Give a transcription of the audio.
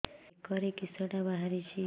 ବେକରେ କିଶଟା ବାହାରିଛି